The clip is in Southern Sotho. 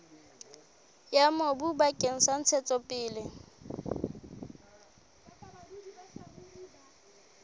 ya mobu bakeng sa ntshetsopele